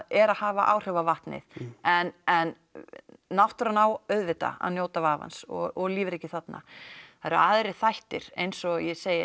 er að hafa áhrif á vatnið en en náttúran á auðvitað að njóta vafans og lífríkið þarna það eru aðrir þættir eins og ég segi